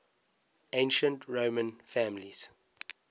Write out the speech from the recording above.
ancient roman families